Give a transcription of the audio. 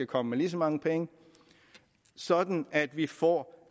komme med lige så mange penge sådan at vi får